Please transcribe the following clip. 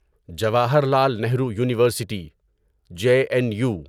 Jawaharlal Nehru university J N you